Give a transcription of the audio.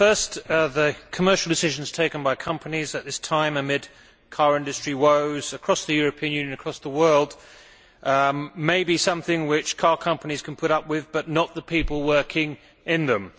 First, the commercial decisions taken by companies at this time amid car industry woes across the European Union, across the world, may be something which car companies can put up with, but not the people working in them.